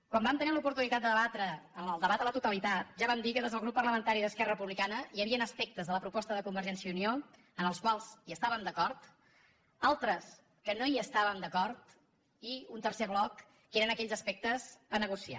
quan vam tenir l’oportunitat de debatre·la en el debat a la totalitat ja vam dir que des del grup parlamentari d’esquerra republicana hi havien aspectes de la pro·posta de convergència i unió amb els quals estàvem d’acord altres que no hi estàvem d’acord i un tercer bloc que eren aquells aspectes a negociar